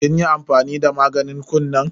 Kin yi amfani da maganin kunnen?